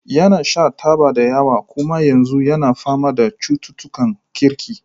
Yana shan taba da yawa kuma yanzu yana fama da cututtukan kirki.